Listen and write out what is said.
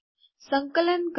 સંકલન કરો